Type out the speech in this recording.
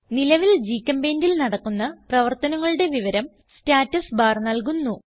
നിലവിൽ GChemPaintൽ നടക്കുന്ന പ്രവർത്തനങ്ങളുടെ വിവരം സ്റ്റാറ്റുസ്ബാർ നൽകുന്നു